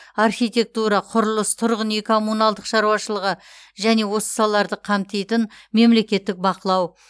архитектура құрылыс тұрғын үй коммуналдық шаруашылығы және осы салаларды қамтитын мемлекеттік бақылау